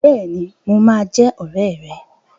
Bẹ́ẹ̀ni, mo máa jẹ́ ọ̀rẹ́ rẹ.